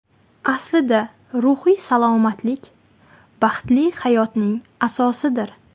Aslida ruhiy salomatlik baxtli hayotning asosidir.